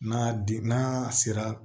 N'a den n'a sera